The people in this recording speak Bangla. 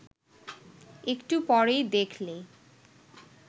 একটু পরেই দেখলে